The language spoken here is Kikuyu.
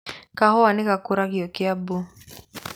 Kahua nĩ gakũragio Kiambu.